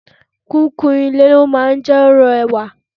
Kíkún ilé máa ń jẹ́ kí ó rẹwà.